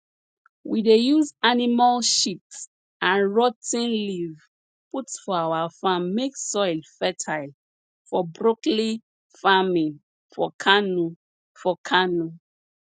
we dey use animal sheat and rot ten leaves put for our farm make soil fertile for broccoli farming for kano for kano